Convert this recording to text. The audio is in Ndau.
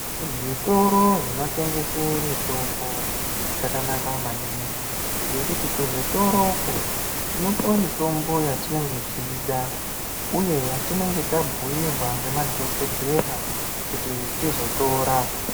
Zvitoro zvinotengese mitombo, zvakanaka maningi, ngekuti kuzvitoro uko, tinopuwa mitombo yatinenge teida ,uye mitombo yatinenge tabhuirwa ngemadhokodhera ,kuti tizotora.